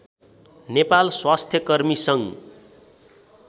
नेपाल स्वास्थ्यकर्मी सङ्घ